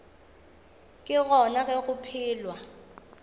ke gona ge go phelwa